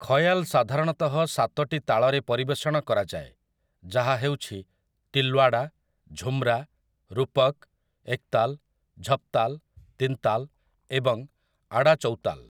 ଖୟାଲ୍ ସାଧାରଣତଃ ସାତଟି ତାଳରେ ପରିବେଷଣ କରାଯାଏ, ଯାହା ହେଉଛି ତିଲ୍‌ୱାଡ଼ା, ଝୂମ୍‌ରା, ରୂପକ୍, ଏକତାଲ୍, ଝପତାଲ୍, ତିନତାଲ୍ ଏବଂ ଆଡ଼ାଚୌତାଲ୍ ।